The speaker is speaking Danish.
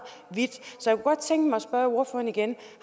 så godt tænke mig at spørge ordføreren igen